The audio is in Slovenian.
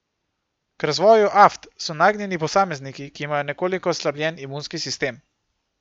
K razvoju aft so nagnjeni posamezniki, ki imajo nekoliko oslabljen imunski sistem.